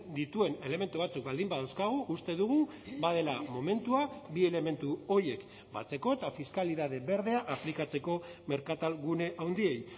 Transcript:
dituen elementu batzuk baldin badauzkagu uste dugu badela momentua bi elementu horiek batzeko eta fiskalitate berdea aplikatzeko merkatalgune handiei